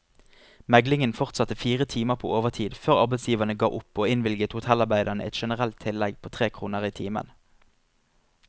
Meglingen fortsatte fire timer på overtid før arbeidsgiverne ga opp og innvilget hotellarbeiderne et generelt tillegg på tre kroner i timen.